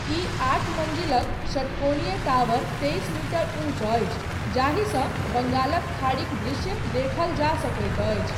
ई आठ मञ्जिलक षट्कोणीय टावर तेइस मीटर ऊँच अछि जाहिसँ बंगालक खाड़ीक दृश्य देखल जाय सकैत अछि।